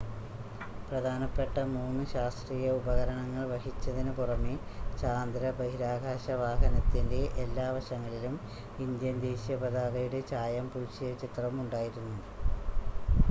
പ്രധാനപ്പെട്ട മൂന്ന് ശാസ്ത്രീയ ഉപകരണങ്ങൾ വഹിച്ചതിന് പുറമെ ചാന്ദ്ര ബഹിരാകാശ വാഹനത്തിൻ്റെ എല്ലാ വശങ്ങളിലും ഇന്ത്യൻ ദേശീയ പതാകയുടെ ചായം പൂശിയ ചിത്രവും ഉണ്ടായിരുന്നു